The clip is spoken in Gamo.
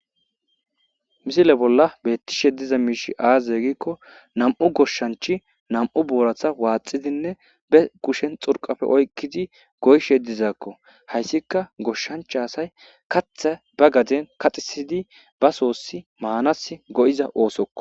Misile bolla beetishe diza miishshi aaze giikko,nam7u goshshanchi nam7u boorata waxidi be kushshen xurqappe oyqidi goyishshe dizako .Hayssika goshshancha asay , kaththa ba gaden kaxxissidi ba sosi manasi go7iza oosokko